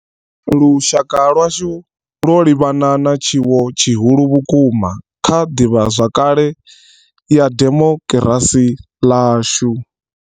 Lushaka lwashu lwo livhana na tshiwo tshi hulu vhukuma kha ḓivhazwakale ya dimokirasi yashu.